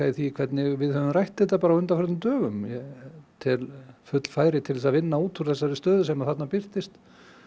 í því hvernig við höfum rætt þetta á undanförnum dögum ég tel full færi til þess að vinna út úr þessari stöðu sem þarna birtist